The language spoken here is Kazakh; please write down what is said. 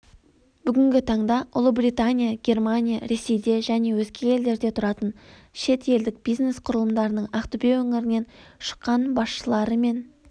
бүгінгі таңда ұлыбритания германия ресейде және өзге елдерде тұратын шетелдік бизнес құрылымдарының ақтөбе өңірінен шыққанбасшылары мен